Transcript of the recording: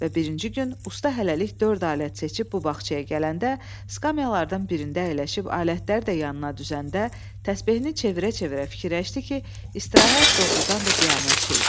Və birinci gün usta hələlik dörd alət seçib bu bağçaya gələndə, skamyalardan birində əyləşib alətlər də yanına düzəndə, təsbehini çevirə-çevirə fikirləşdi ki, istirahət doğurdan da qiyamət şey idi.